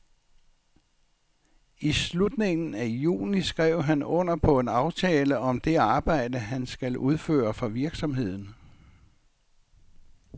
I slutningen af juni skrev han under på en aftale om det arbejde, han skal udføre for virksomheden.